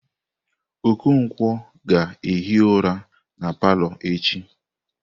Okonkwo ga-ehi ụra na palọ echi.